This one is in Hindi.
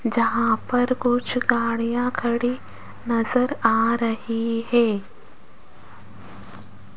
जहां पर कुछ गाड़ियां खड़ी नज़र आ रही है।